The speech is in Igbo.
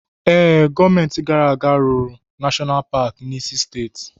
Ee, gọọmenti gara aga rụrụ Nashọnal Paki n'isi steeti.